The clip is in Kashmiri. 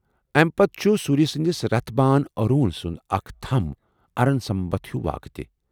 امہ پتہٕ چھ سوٗریہ سنٛدِس رتھ بان ارون سُنٛد اکھ تھم ارَن ستمبھ ہِوِ واقعہٕ تہِ ۔